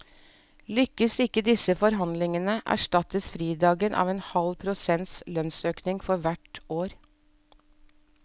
Lykkes ikke disse forhandlinege erstattes fridagen av en halv prosents lønnsøkning for hvert år.